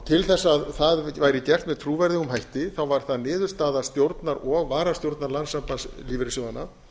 til þess að það væri gert með trúverðugum hætti var það niðurstaða stjórnar og varastjórnar landssambands lífeyrissjóðanna